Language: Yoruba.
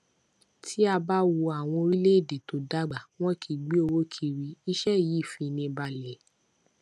tí a bá wo àwọn orílẹ èdè tó dàgbà wọn kii gbé owó kiri ise yii fini balẹ